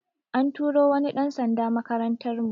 An turo wani ɗan sanda makarantar mu